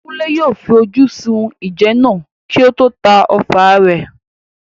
Kunle yóò fi ojú sun ìjẹ náà kí ó tó ta ọfà rẹ̀.